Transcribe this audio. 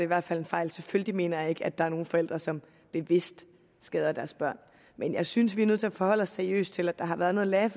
hvert fald en fejl selvfølgelig mener jeg ikke at der er nogle forældre som bevidst skader deres børn men jeg synes vi er nødt til at forholde seriøst til at der har været noget